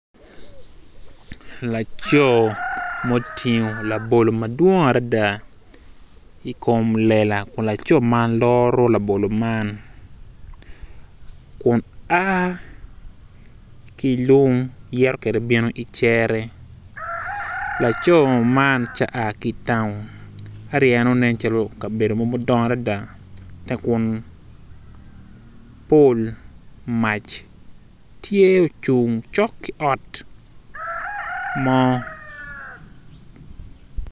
Laco ma otingo labolo madwong adada i kom lela kun laco man loro labolo man kun a ki lum kun yito kwede bino i cere laco man tye a ki town ento ineno ne calo kabedo mudongo adada ka kun pol mac tye ocung cok ki ot mo.